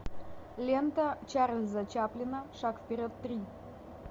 лента чарльза чаплина шаг вперед три